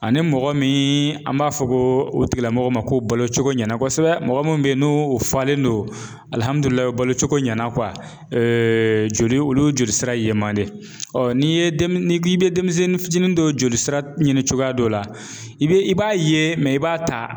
Ani mɔgɔ min an b'a fɔ ko o tigilamɔgɔ ma ko balo cogo ɲɛna kosɛbɛ mɔgɔ min bɛ yen n'o falen don alihamudulilayi balocogo ɲɛna joli olu jolisira yeman de ɔ n'i ye n'i bɛ denmisɛnnin fitinin dɔ joli sira ɲini cogoya dɔ la i bɛ i b'a ye i b'a ta